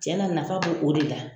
Cɛn na nafa bo o de la.